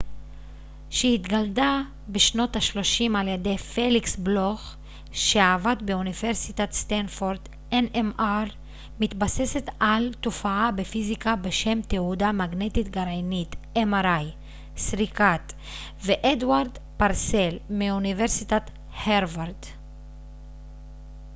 "סריקת mri מתבססת על תופעה בפיזיקה בשם תהודה מגנטית גרעינית nmr שהתגלתה בשנות ה-30 ע""י פליקס בלוך כשעבד באוניברסיטת סטנפורד ואדוארד פרסל מאוניברסיטת הרווארד